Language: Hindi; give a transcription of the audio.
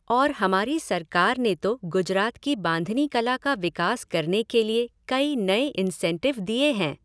और हमारी सरकार ने तो गुजरात की बांधनी कला का विकास करने के लिए कई नए इन्सेन्टिव दिए हैं।